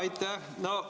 Aitäh!